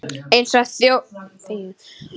Eins og þjóðin öll